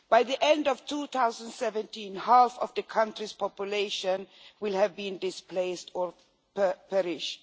By the end of 2017, half of the country's population will have been displaced or perished.